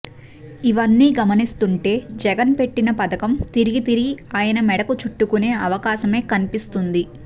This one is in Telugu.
ఇవన్నీ గమనిస్తుంటే జగన్ పెట్టిన పధకం తిరిగి తిరిగి అయన మెడకు చుట్టుకునే అవకాశమే కనిపిస్తుంది